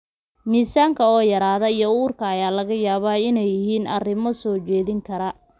Miisaanka oo yaraada iyo uurka ayaa laga yaabaa inay yihiin arrimo soo jeedin kara.